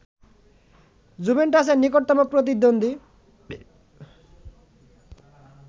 জুভেন্টাসের নিকটতম প্রতিদ্বন্দ্বী